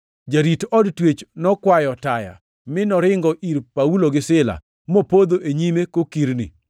Jarit od twech nokwayo taya, mi noringo ir Paulo gi Sila, mopodho e nyimgi kokirni.